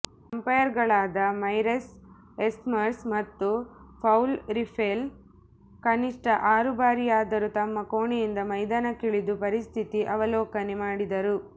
ಅಂಪಾಯರುಗಳಾದ Marais Erasmus ಮತ್ತು Paul Reiffel ಕನಿಷ್ಠ ಆರು ಬಾರಿಯಾದರೂ ತಮ್ಮ ಕೋಣೆಯಿಂದ ಮೈದಾನಕ್ಕಿಳಿದು ಪರಿಸ್ಥಿತಿ ಅವಲೋಕನೆ ಮಾಡಿದರು